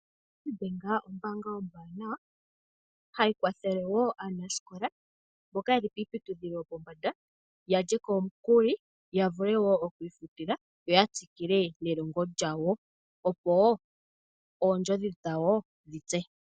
Nedbank Ombaanga ombwaanawa, hayi kwathele wo aanasikola mboka ye li kiiputudhilo yopombanda yalye ko omukuli ya vule woo okwiifutila, yo ya tsikile wo nelongo lyawo opo oondjodhi dhawo dhitse.